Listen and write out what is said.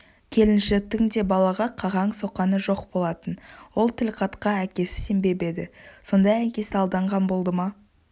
келіншектің де балаға қақаң-соқаңы жоқ болатын ол тілхатқа әкесі сенбеп еді сонда әкесі алданған болды ма